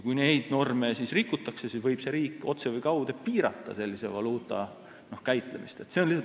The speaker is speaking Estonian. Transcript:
Kui neid norme rikutakse, siis võib see riik otse või kaude piirata sellise valuuta käitlemist.